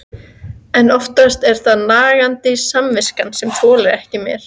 En oftast er það nagandi samviskan sem þolir ekki meir.